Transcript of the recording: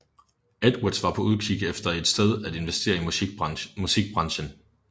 Edwards var på udkig efter et sted at investere i musikbrancen